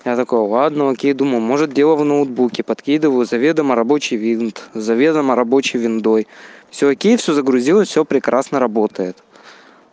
я такой ладно окей думал может дело в ноутбуке подкидываю заведомо рабочий винт заведомо рабочий виндой всё окей всё загрузилось всё прекрасно работает